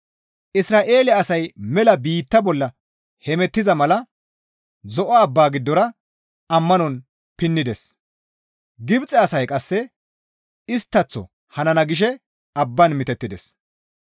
Isra7eele asay mela biitta bolla hemettiza mala Zo7o abbaa giddora ammanon pinnides; Gibxe asay qasse isttaththo hanana gishe abbaan mitettides.